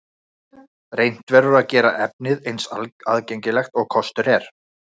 Reynt verður að gera efnið eins aðgengilegt almenningi og kostur er.